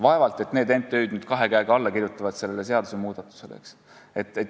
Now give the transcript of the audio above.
Vaevalt et need MTÜ-d sellele seadusmuudatusele kahe käega alla kirjutavad.